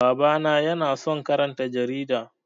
Baba na ya na son karanta jarida